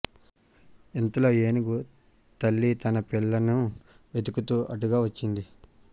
ఇంతలో ఏనుగు తల్లి తన పిల్లను వెతుకుతూ అటుగా వచ్చింది